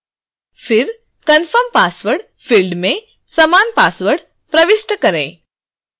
फिर confirm password: field में समान पासवर्ड प्रविष्ट करें